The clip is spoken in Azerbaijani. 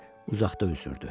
uzaqda üzürdü.